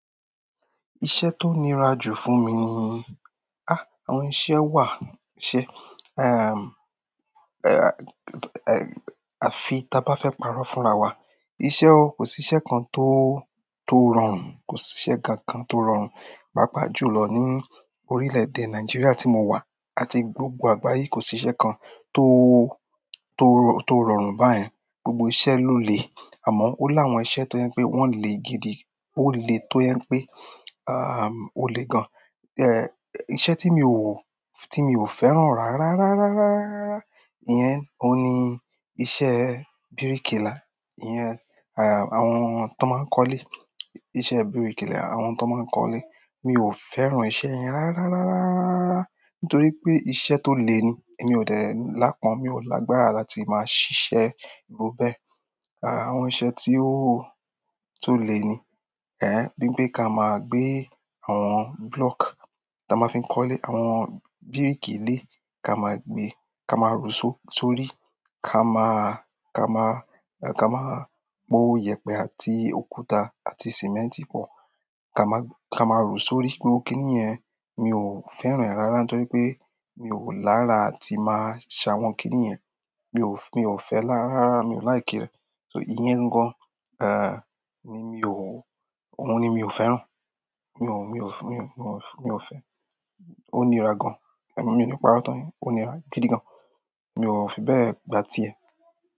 Iṣẹ́ tó nira jù fún mi ni àwọn iṣẹ́ wà, àfi ta bá fẹ́ parọ́ fúnra wa. Iṣẹ́ o, kò sí iṣẹ́ kan tó, tó rọrùn, kò sí iṣẹ́ kankan tó rọrùn pàápàá jùlọ ní orílẹ̀-èdè Nigeria tí mo wà àti gbogbo àgbáyé. Kò síṣẹ́ kan tó rọrùn báyẹn. Gbogbo iṣẹ́ ló le. Àmọ́ ó láwọn iṣẹ́ tó jẹ́ pé wọ́n le gidi, ó le tó jẹ́ pé, ó le gan-an. Iṣẹ́ tí mi ò, tí mi ò fẹ́ràn rárá, rárá, rárá, rárá, rárá, rárá, ìyẹn òun ni iṣẹ́ bíríkìlà. Ìyẹn àwọn t'ọ́n máa ń kọ́lé, iṣẹ́ bíríkìlà àwọn t'ọ́n máa ń kọ́lé. Mi ò fẹ́ràn iṣẹ́ yẹn rárá, rárá, rárá, rárá nítorí pé iṣẹ́ tó le ni. Èmi ò dẹ̀ lápọ̀n-ọ́n, mi ò lágbára láti máa ṣiṣẹ́ irú bẹ́ẹ̀. Àwọn iṣẹ́ tí ó, tó le ni, ní pé ká máa gbé àwọn block táa máa fi ń kọ́lé, àwọn brick ilé, ka máa gbe, ka rùú sórí, ka máa, ka máa, ká má po ìyẹ̀pẹ̀ àti òkúta àti simẹ́ǹtì pọ̀. Ka máa rùú sórí. Gbogbo kiní yẹn, mi ò fẹ́ràn ẹ̀ rárá nítorí pé mi ò lára àti máa ṣe àwọn kiní yẹn. Mi ò fẹ́, mi ò fẹ́ lára, rárá mi ò like rẹ̀. So ìyẹn gangan ni mi ò, òun ni mi ò fẹ́ràn. Mi ò, mi ò fẹ́, mi ò fẹ́, mi ò fẹ́. Ó nira gan-an, èmi mi ò lè parọ́ tàn yín. Ó nira gidi gan-an. Mi ò fi bẹ́ẹ̀ gba tiẹ̀.